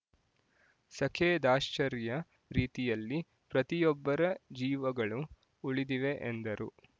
ಸಖೇದಾಶ್ಚರ್ಯ ರೀತಿಯಲ್ಲಿ ಪ್ರತಿಯೊಬ್ಬರ ಜೀವಗಳು ಉಳಿದಿವೆ ಎಂದರು